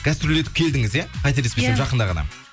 гастрольдетіп келдіңіз иә қателеспесем жақында ғана